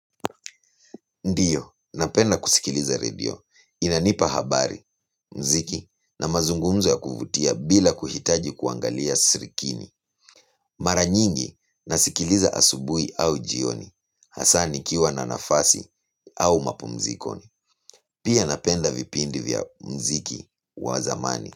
Ndiyo, napenda kusikiliza radio. Inanipa habari, muziki na mazungumzo ya kuvutia bila kuhitaji kuangalia sirikini. Mara nyingi, nasikiliza asubuhi au jioni hasaa nikiwa na nafasi au mapumzikoni. Pia napenda vipindi vya muziki wa zamani.